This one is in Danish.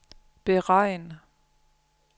beregn